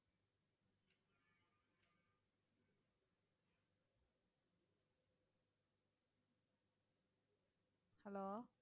hello